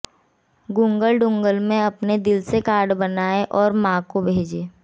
Google doodle में अपने दिल से कार्ड बनाएं और मां को भेजें